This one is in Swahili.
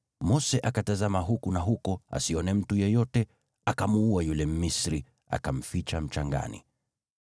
Mose akatazama huku na huko asione mtu yeyote, akamuua yule Mmisri, akamficha mchangani.